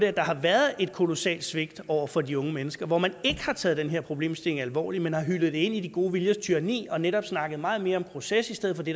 at der har været et kolossalt svigt over for de unge mennesker hvor man ikke har taget den her problemstilling alvorligt men har hyldet det ind i de gode viljers tyranni og netop har snakket meget mere om proces i stedet for det